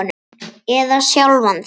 Eða sjálfan þig.